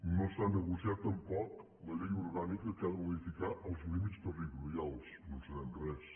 no s’ha negociat tampoc la llei orgànica que ha de modificar els límits territorials no en sabem res